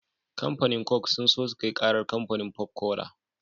Kamfanin coke sun so sukai karar kamfanin pop cola